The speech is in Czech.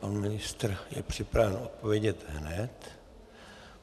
Pan ministr je připraven odpovědět hned.